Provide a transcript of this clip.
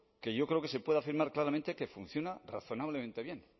que yo creo que se puede afirmar claramente que funciona razonablemente bien